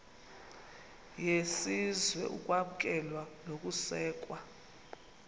yesizwe ukwamkelwa nokusekwa